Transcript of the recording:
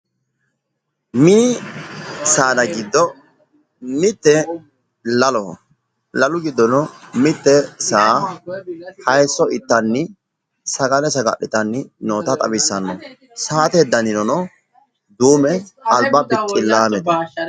Mini saada giddo mitte laloho. Lalu giddono mitte saa hayiisso ittanni sagale saga'litanni noota xawissanno. Saate danino duume alba bixxillaamete.